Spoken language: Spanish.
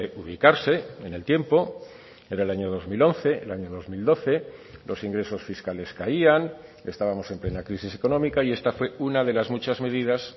ubicarse en el tiempo era el año dos mil once el año dos mil doce los ingresos fiscales caían estábamos en plena crisis económica y esta fue una de las muchas medidas